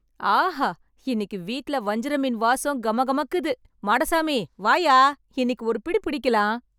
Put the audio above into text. ஆஹா , இன்னைக்கு வீட்லே வஞ்சரம் மீன் வாசம் கம கமக்குத்து , மாடசாமி வாயா, இன்னைக்கு ஒரு பிடி பிடிக்கலாம்.